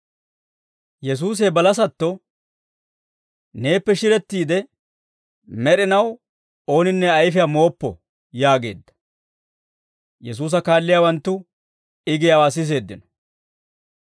Yesuusi he balasatto, «Neeppe shirettiide med'inaw ooninne ayfiyaa mooppo» yaageedda. Yesuusa kaalliyaawanttu I giyaawaa siseeddino.